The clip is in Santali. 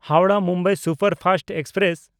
ᱦᱟᱣᱲᱟᱦ–ᱢᱩᱢᱵᱟᱭ ᱥᱩᱯᱟᱨᱯᱷᱟᱥᱴ ᱮᱠᱥᱯᱨᱮᱥ